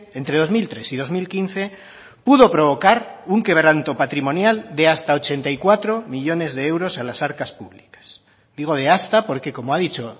entre dos mil tres y dos mil quince pudo provocar un quebranto patrimonial de hasta ochenta y cuatro millónes de euros a las arcas públicas digo de hasta porque como ha dicho